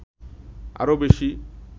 আরো বেশী